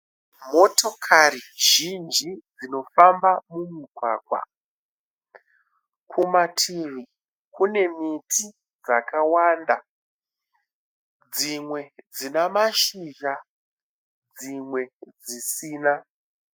Motokari zhinji dzinofamba mumugwagwa. Kumativi kune miti dzakawanda. Dzimwe dzina mashizha dzimwe dzisina.